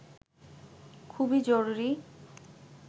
খুবই জরুরি